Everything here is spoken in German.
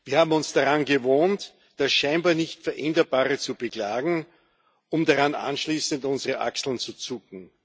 Wir haben uns daran gewöhnt, das scheinbar nicht Veränderbare zu beklagen, um daran anschließend unsere Achseln zu zucken.